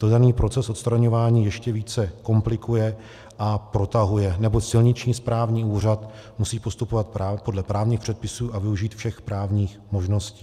To daný proces odstraňování ještě více komplikuje a protahuje, neboť silniční správní úřad musí postupovat podle právních předpisů a využít všech právních možností.